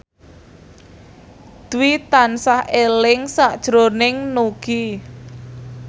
Dwi tansah eling sakjroning Nugie